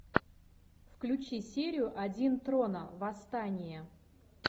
включи серию один трона восстание